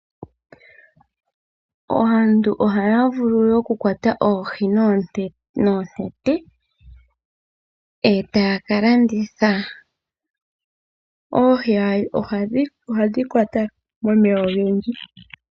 Aantu oha ya vulu okukwata oohi noonete, e ta ya ka landitha. Oohi ohadhi kwatwa momeya ogendji.